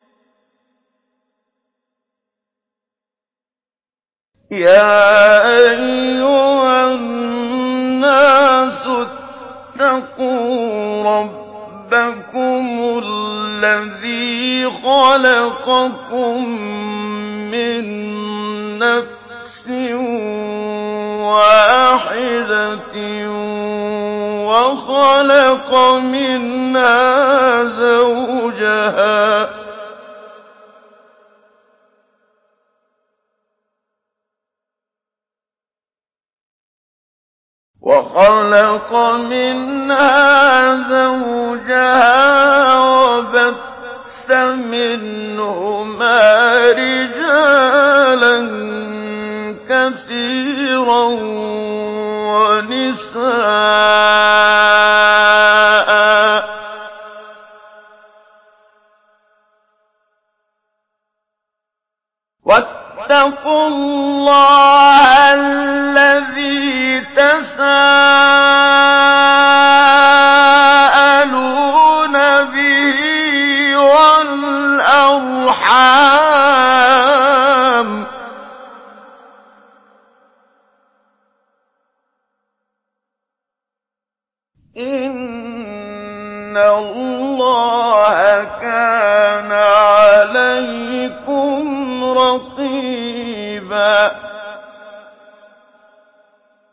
يَا أَيُّهَا النَّاسُ اتَّقُوا رَبَّكُمُ الَّذِي خَلَقَكُم مِّن نَّفْسٍ وَاحِدَةٍ وَخَلَقَ مِنْهَا زَوْجَهَا وَبَثَّ مِنْهُمَا رِجَالًا كَثِيرًا وَنِسَاءً ۚ وَاتَّقُوا اللَّهَ الَّذِي تَسَاءَلُونَ بِهِ وَالْأَرْحَامَ ۚ إِنَّ اللَّهَ كَانَ عَلَيْكُمْ رَقِيبًا